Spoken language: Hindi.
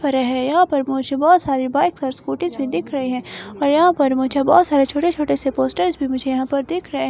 भरे है यहाँ पर मुझे बहुत सारी बाइक्स और स्कूटीज भी दिख रही है और यहाँ पर मुझे बहुत सारे छोटे-छोटे से पोस्टर्स भी मुझे यहाँ पर दिख रहा है ।